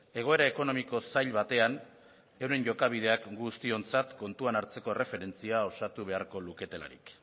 egoera ekonomiko zail batean euren jokabideak guztiontzat kontuan hartzeko erreferentzia osatu beharko luketelarik